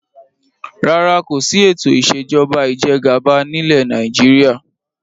Rárá, kòsi ètò ìsèjọba ìjẹgàba nilẹ Nàìjíríà